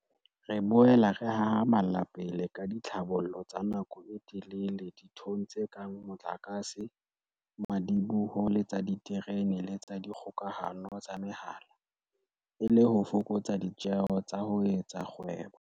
Re boela re hahama lla pele ka ditlhabollo tsa nako e telele dinthong tse kang mo tlakase, madiboho le tsa diterene le tsa dikgokahano tsa mehala, e le ho fokotsa ditjeo tsa ho etsa kgwebo.